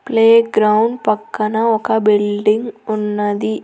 Playground పక్కన ఒక building ఉన్నది.